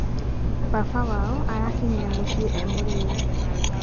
baba wao arakinyire muciĩ e mũrĩu